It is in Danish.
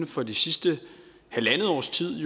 for det sidste halvandet års tid